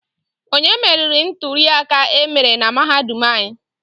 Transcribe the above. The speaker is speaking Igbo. Onye meriri nturiaka emere na mahadum anyị?